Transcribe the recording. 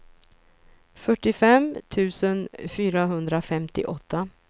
fyrtiofem tusen fyrahundrafemtioåtta